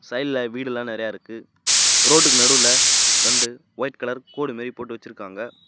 சைடுல வீடு எல்லாம் நிறைய இருக்கு ரோட்டுக்கு நடுவுல ரெண்டு ஒயிட் கலர் கோடு மாறி போட்டு வெச்சிருக்காங்க.